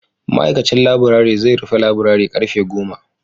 ma'aikacin laburare zai rufe laburare karfe goma